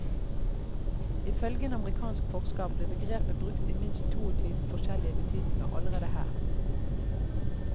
Ifølge en amerikansk forsker blir begrepet brukt i minst toogtyve forskjellige betydninger allerede her.